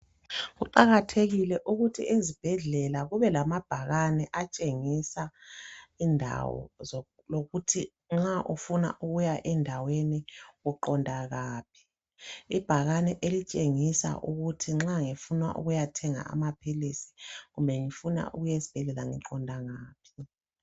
Kuqakathekile ukuthi ezibhedlela kube lamabhakane atshengisa indawo lokuthi nxa ufuna ukuya endaweni uqonda ngaphi. Ibhakane elitshengisa ukuthi nxa ngifuna ukuyathenga amaphilisi kumbe ngifuna ukuya esibhedlela ngiqonda ngaphi.